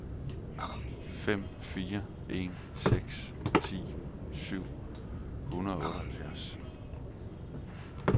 fem fire en seks ti syv hundrede og otteoghalvfjerds